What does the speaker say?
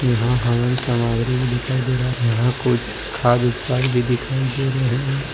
यहां हवन सामग्री भी दिखाई दे रहा है यहां कुछ खाद्य उत्पाद भी दिखाई दे रहे हैं।